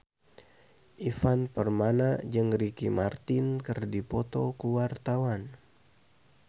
Ivan Permana jeung Ricky Martin keur dipoto ku wartawan